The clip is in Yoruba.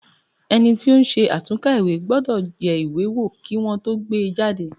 Ẹni tí ó ń ṣe àtúnkà ìwé gbọ́dọ̀ yẹ ìwé wo kí Wọ́n tó gbé e jáde.